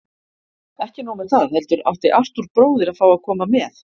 Ekki nóg með það, heldur átti Arthúr bróðir að fá að koma með.